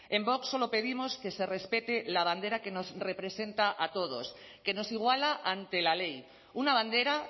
en vox solo pedimos que se respete la bandera que nos representa a todos que nos iguala ante la ley una bandera